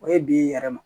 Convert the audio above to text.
O ye bi yɛrɛ ma